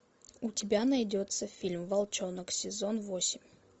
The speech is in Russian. у тебя найдется фильм волчонок сезон восемь